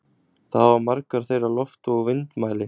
Þá hafa margar þeirra loftvog og vindmæli.